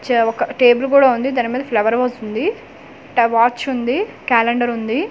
చా ఒక టేబల్ కూడ ఉంది దాని మీద ఫ్లవర్ వాజ్ ఉంది ట వాచ్ ఉంది కాలెండర్ ఉంది అండ్ క--